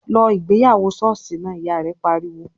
"Lọ ìgbéyàwó ṣọ́ọ̀ṣì náà!", Ìyá rẹ̀ pariwo